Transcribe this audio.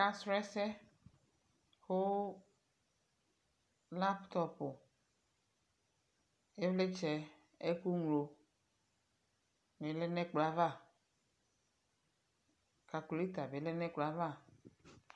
Akasʋ ɛsɛ kʋ laptɔpʋ, ɩvlɩtsɛ, ɛkʋŋlonɩ lɛ nʋ ɛkplɔ yɛ ava Kalkulata bɩ lɛ nʋ ɛkplɔ yɛ ava